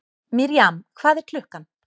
Mirjam, hvað er klukkan?